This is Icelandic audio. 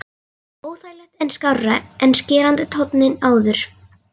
Óþægilegt en skárra en skerandi tónninn áður.